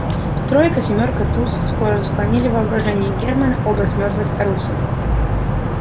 тройка семёрка туз скоро заслонили в воображении германна образ мёртвой старухи